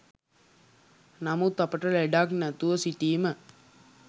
නමුත් අපට ලෙඩක් නැතුව සිටීම